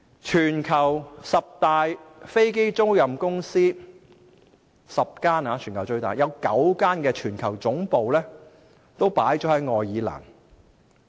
全球十大飛機出租公司，有9間的全球總部都設於愛爾蘭。